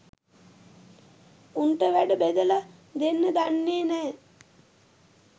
උන් ට වැඩ බෙදලා දෙන්න දන්නෙ නෑ.